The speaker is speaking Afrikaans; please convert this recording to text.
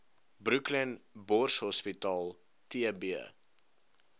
brooklyn borshospitaal tb